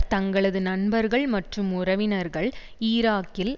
தங்களது நண்பர்கள் மற்றும் உறவினர்கள் ஈராக்கில்